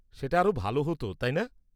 সেটা আরও ভাল হত, তাই না?